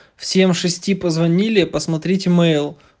всем шести позвонили посмотрите мэйл